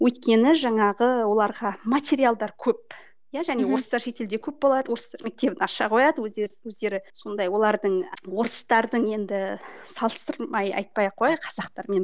өйткені жаңағы оларға материалдар көп иә және орыстар шетелде көп болады орыстар мектебін аша қояды өз өз өздері сондай олардың орыстардың енді салыстырмай айтпай ақ қояйық қазақтармен